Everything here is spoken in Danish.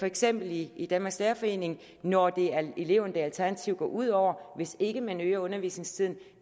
eksempel i danmarks lærerforening når det er eleverne det alternativt går ud over hvis ikke man øger undervisningstiden